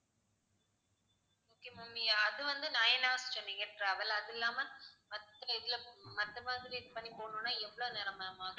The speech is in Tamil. நீங்க அது வந்து nine hours சொன்னீங்க travel அது இல்லாம மாதிரி இது பண்ணி போணும்னா எவ்வளவுநேரம் ma'am ஆகும் ஆகும்